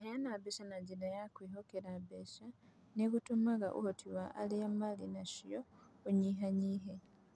Kũheana mbeca na njĩra ya kwĩhokera mbeca nĩ gũtũmaga ũhoti wa arĩa marĩ nacio ũnyihanyihe.